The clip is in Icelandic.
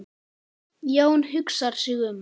Jón hugsar sig um.